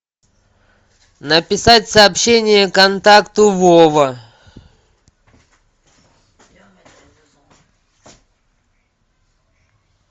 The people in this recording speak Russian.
написать сообщение контакту вова